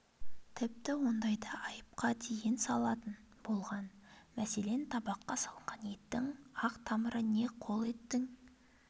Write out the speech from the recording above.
тіпті ондайда айыпқа дейін салатын болған мәселен табаққа салынған еттің ақ тамыры не қол еттің